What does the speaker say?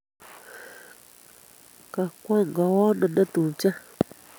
Kakwong Kawoo ano notupche?